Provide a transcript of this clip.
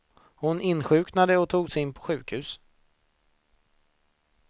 Hon insjuknade och togs in på sjukhus.